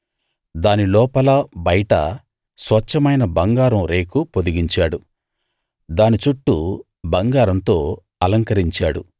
దాని లోపల బయటా స్వచ్ఛమైన బంగారం రేకు పొదిగించాడు దాని చుట్టూ బంగారంతో అలంకరించాడు